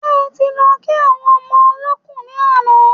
Ṣe ẹ ti lọ kí àwọn ọmọ olọ́kù ni àná?